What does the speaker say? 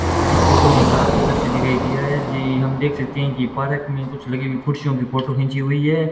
इस फोटो में एक रात का दृश्य दिखाई गया है जी हम देख सकते हैं कि पार्क में कुछ लगी हुई कुर्सियों की फोटो खींची हुई है।